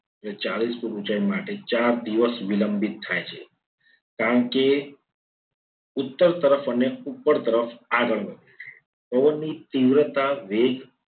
અને ચાલીસ foot ઊંચાઈ માટે ચાર દિવસ વિલંબિત થાય છે. કારણ કે ઉત્તર તરફ અને ઉપર તરફ આગળ વધે છે. પવનની તીવ્રતા વેગ